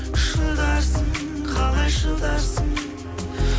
шыдарсың қалай шыдарсың